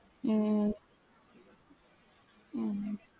உம் உம்